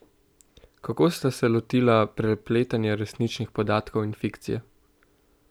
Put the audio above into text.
Kako ste se lotila prepletanja resničnih podatkov in fikcije?